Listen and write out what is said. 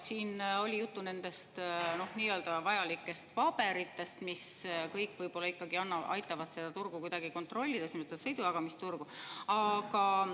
Siin oli juttu nendest nii-öelda vajalikest paberitest, mis kõik võib-olla ikkagi aitavad seda turgu, sõidujagamisturgu kuidagi kontrollida.